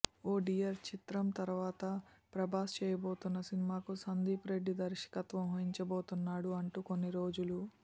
ఓ dear చిత్రం తర్వాత ప్రభాస్ చేయబోతున్న సినిమాకు సందీప్ రెడ్డి దర్శకత్వం వహించబోతున్నాడు అంటూ కొన్ని రోజులు